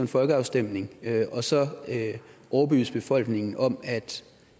folkeafstemning og så overbevise befolkningen om